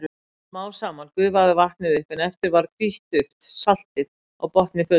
Smá saman gufaði vatnið upp en eftir varð hvítt duft, saltið, á botni fötunnar.